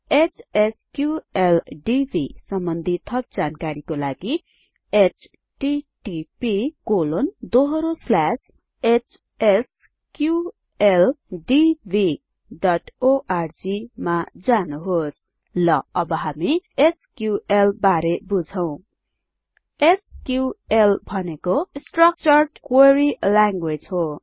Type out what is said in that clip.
HSQLDB सम्बन्धि थप जानकारीको लागि httphsqldborg मा जानुहोस् ल अब हामी एसक्यूएल बारे बुझौं एसक्यूएल भनेको स्ट्रक्चर्ड क्वेरी ल्याङ्ग्वेज हो